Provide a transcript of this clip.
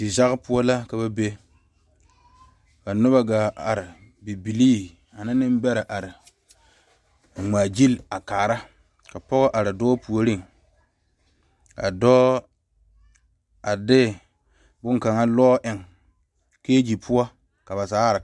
Dizage poɔ la ka ba be, ka noba gaa are bibiiri ane nenbeɛrɛ are a ŋmaa gyile a kaara ka pɔgɔ are dɔɔ puoriŋ kaa dɔɔ a de bonkaŋa. lɔɔ eŋe kegye poɔ ka ba zaa are kaara